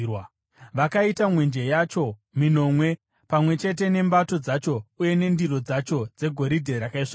Vakaita mwenje yacho minomwe, pamwe chete nembato dzacho uye nendiro dzacho, dzegoridhe rakaisvonaka.